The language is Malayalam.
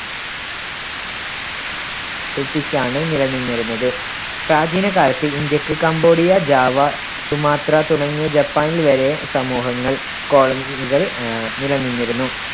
ആണ് നിലനിന്നിരുന്നത്. പ്രാചീനകാലത്ത് ഇന്ത്യയ്ക്ക് കംബോഡിയ, ജാവ, സുമാത്ര തുടങ്ങിയ ജപ്പാനിൽ വരെ സമൂഹങ്ങൾ colony കൾ ആഹ് നിലനിന്നിരുന്നു.